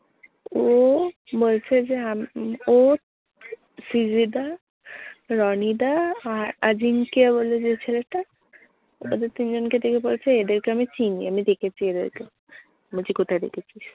ও বলছে যে আমি মানে ও ফিজে দা, রনী দা আর আজিমকে বলে যে ছেলেটা ওদের তিনজনকে দেখিয়ে বলছে, এদেরকে আমি চিনি। আমি দেখেছি এদেরকে। আমি বলছি কোথায় দেখেছিস?